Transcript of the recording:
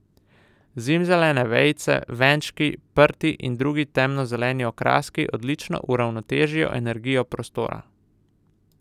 Zimzelene vejice, venčki, prti in drugi temno zeleni okraski odlično uravnotežijo energijo prostora.